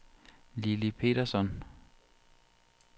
Lilly Petersson